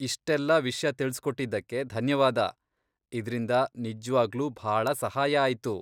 ಇಷ್ಟೆಲ್ಲ ವಿಷ್ಯ ತಿಳ್ಸ್ಕೊಟ್ಟಿದ್ದಕ್ಕೆ ಧನ್ಯವಾದ, ಇದ್ರಿಂದ ನಿಜ್ವಾಗ್ಲೂ ಭಾಳ ಸಹಾಯ ಆಯ್ತು.